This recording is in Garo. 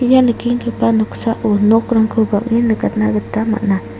ia nikenggipa noksao nokrangko bang·en nikatna gita man·a.